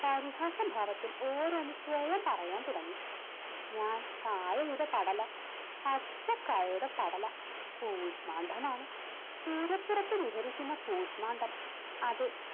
പരിഹാസ ഭാവത്തിൽ ഓരോന്ന് സ്വയം പറയാൻ തുടങ്ങി. ഞാൻ കായയുടെ പടല പച്ചക്കായയുടെ പടല കൂശ്മണ്ഡമാണ്, പൂരപ്പുറത്ത് വിഹരിക്കുന്ന കൂശ്മാണ്ഡം അതെ